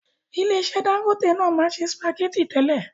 Ilé iṣẹ́ Dangote náà maa n se spaghetti tẹ́lẹ̀.